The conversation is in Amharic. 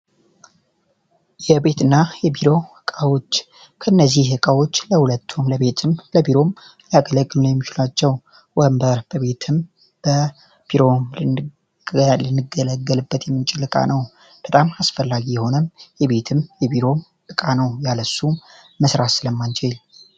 የቤትና የቢሮ እቃዎች ከእነዚህ ዕቃዎች ያገለግሉ የሚችሉ ናቸው ወንበር በቢሮም በቤትም ልንገለገለበት የመነችለው እቃው በጣም አስፈላጊ የሆነ የቤት የቢሮ ዕቃ ነው ያለሱ መስራት ስለማንችል።